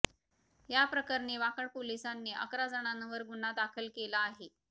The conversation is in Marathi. याप्रकरणी वाकड पोलिसांनी अकरा जणांवर गुन्हा दाखल केला आहे